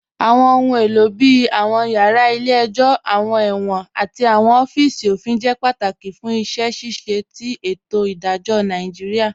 Awọn ọ̀hun èlo bíi awọn yara ilẹ̀-ẹ̀jọ, awọn èwọ̀n, àti awọn ọ̀fíìsì ofin jẹ́ pátákì fún iṣẹ́ ṣíṣẹ̀ tì ètò idajọ̀ Nàìjíríà